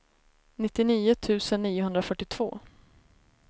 nittionio tusen niohundrafyrtiotvå